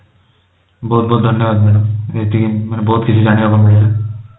ବହୁତ ବହୁତ ଧନ୍ୟବାଦ madam ଏଠି ମାନେ ବହୁତ କିଛି ଜାଣିବାକୁ ମିଳିଲା